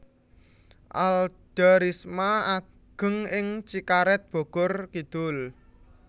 Alda Risma ageng ing Cikaret Bogor Kidul